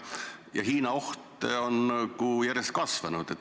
Ja Hiina oht on järjest kasvanud.